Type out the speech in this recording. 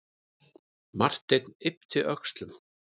Marteinn yppti öxlum.